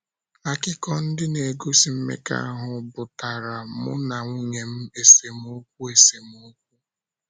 Akụkọ ndị na - egosi mmekọahụ butaara mụ na nwunye m esemokwu esemokwu.